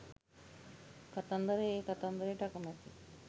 "කතන්දර" ඒ කතන්දරේට අකමැතියි